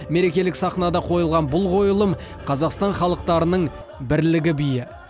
мерекелік сахнада қойылған бұл қойылым қазақстан халықтарының бірлігі биі